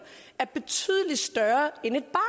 er betydelig større